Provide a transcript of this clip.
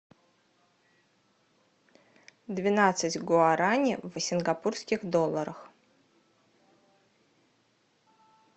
двенадцать гуарани в сингапурских долларах